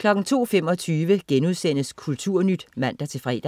02.25 Kulturnyt* (man-fre)